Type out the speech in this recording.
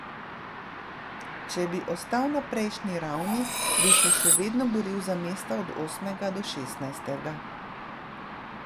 Če bi ostal na prejšnji ravni, bi se še vedno boril za mesta od osmega do šestnajstega.